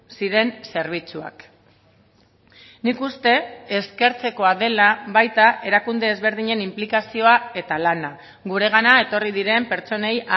ziren zerbitzuak nik uste eskertzekoa dela baita erakunde ezberdinen inplikazioa eta lana guregana etorri diren pertsonei